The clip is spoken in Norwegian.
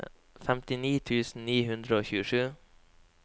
femtini tusen ni hundre og tjuesju